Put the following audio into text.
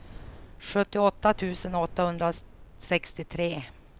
sjuttioåtta tusen åttahundrasextiotre